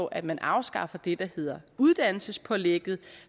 at man afskaffer det der hedder uddannelsespålægget